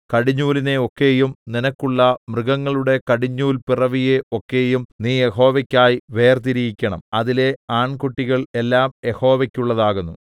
കടിഞ്ഞൂലിനെ ഒക്കെയും നിനക്കുള്ള മൃഗങ്ങളുടെ കടിഞ്ഞൂൽ പിറവിയെ ഒക്കെയും നീ യഹോവയ്ക്കായി വേർതിരിയക്കണം അതിലെ ആൺകുട്ടികൾ എല്ലാം യഹോവയ്ക്കുള്ളതാകുന്നു